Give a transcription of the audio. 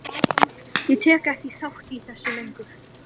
Ég tek ekki þátt í þessu lengur.